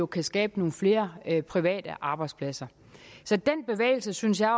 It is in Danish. kan skabe nogle flere private arbejdspladser den bevægelse synes jeg